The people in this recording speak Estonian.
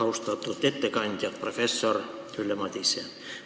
Austatud ettekandja professor Ülle Madise!